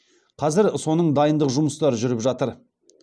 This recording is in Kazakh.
қазір соның дайындық жұмыстары жүріп жатыр